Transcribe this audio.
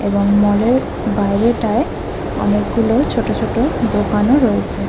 এবং মল -এর বাইরেটায় অনেকগুলো ছোট ছোট দোকান রয়েছে ।